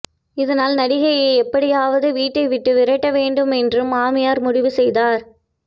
இதனால் நடிகையை எப்படியாவது வீட்டை விட்டு விரட்ட வேண்டும் என்று மாமியார் முடிவு செய்தார்